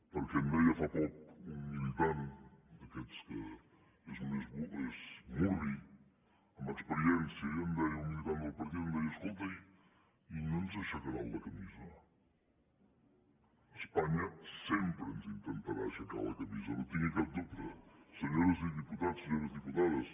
perquè em deia fa poc un militant d’aquests que és murri amb experiència i em deia un militant del partit escolta i no ens aixecaran la camisa espanya sempre ens intentarà aixecar la camisa no en tinguin cap dubte senyors diputats senyores diputades